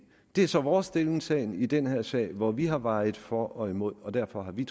er så vores stillingtagen i den her sag hvor vi har vejet for og imod og derfor har vi